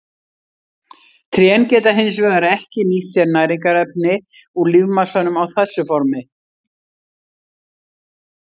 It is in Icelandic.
Trén geta hins vegar ekki nýtt sér næringarefni úr lífmassanum á þessu formi.